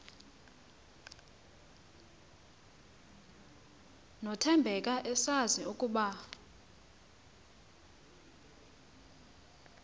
nothembeka esazi ukuba